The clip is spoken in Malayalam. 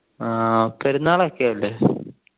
ആഹ് പെരുന്നാളൊക്കെ അല്ലെ